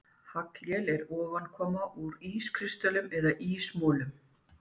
Haglél er ofankoma úr ískristöllum eða ísmolum.